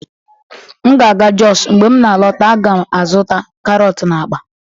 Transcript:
M ga-aga jos, mgbe m na-alọta, a ga-azụta karọt na akpa